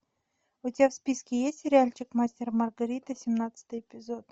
у тебя в списке есть сериальчик мастер и маргарита семнадцатый эпизод